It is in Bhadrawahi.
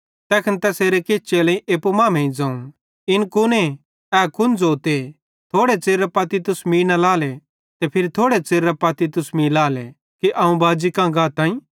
तैखन तैसेरे किछ चेलेईं एप्पू मांमेइं ज़ोवं इन कुने ए कुन ज़ोते थोड़े च़िरेरां पत्ती तुस मीं न लाएले ते फिरी थोड़े च़िरेरां पत्ती तुस मीं लाएले कि अवं बाजी कां गाताईं